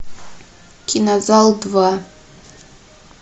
кинозал два